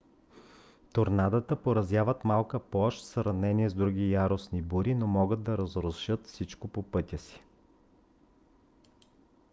торнадата поразяват малка площ в сравнение с други яростни бури но могат да разрушат всичко по пътя си